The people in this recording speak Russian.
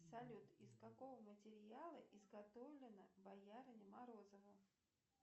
салют из какого материала изготовлена боярыня морозова